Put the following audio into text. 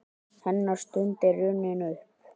Hennar stund er runnin upp.